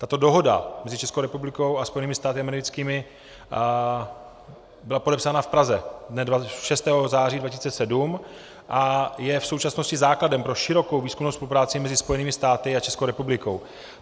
Tato dohoda mezi Českou republikou a Spojenými státy americkými byla podepsána v Praze dne 6. září 2007 a je v současnosti základem pro širokou výzkumnou spolupráci mezi Spojenými státy a Českou republikou.